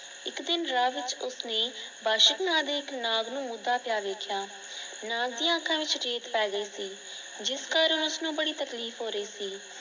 ਇੱਕ ਦਿਨ ਰਾਹ ਵਿੱਚ ਉਸਨੇ ਵਾਸ਼ਿਕ ਨਾਂ ਦੇ ਨਾਗ ਨੂੰ ਮੁੱਦਾ ਪਿਆ ਦੇਖਿਆ ਨਾਗ ਦੀਆਂ ਅੱਖਾਂ ਵਿਚ ਰੇਤ ਪੈ ਗਈ ਸੀ ਜਿਸ ਕਾਰਨ ਉਸ ਨੂੰ ਬੜੀ ਤਕਲੀਫ ਹੋ ਰਹੀ ਸੀ।